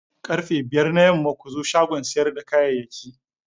Karfe biyar na yamma ku zo shagon siyar da kayayyaki.